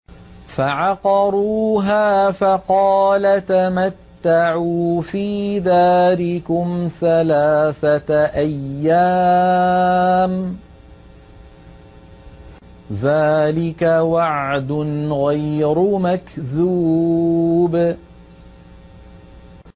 فَعَقَرُوهَا فَقَالَ تَمَتَّعُوا فِي دَارِكُمْ ثَلَاثَةَ أَيَّامٍ ۖ ذَٰلِكَ وَعْدٌ غَيْرُ مَكْذُوبٍ